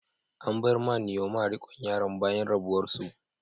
An bai wa Nneoma rikon yaran bayan rabuwar su.